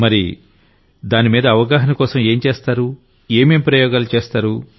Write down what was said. నరేంద్రమోడీ మరి aware Nes కోసం ఏం చేస్తారు ఏమేం ప్రయోగాలు చేస్తారు